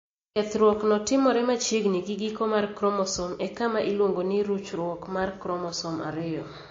Kethruokno timore machiegni gi giko mar kromosom e kama iluongo ni ruchruok mar kromosom ariyo.